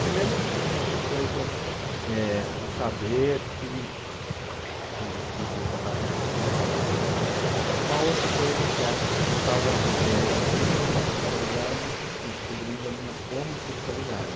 Primeiro, tinha essa coisa é do saber que coisa esquisita está acontecendo aqui, não sei o que é. Tinha uma outra coisa que era, eu estava descobrindo a minha sexualidade e descobrindo a minha homossexualidade.